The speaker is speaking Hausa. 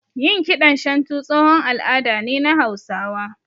Yin kiɗan shantu tsohon al'ada ne na Hausawa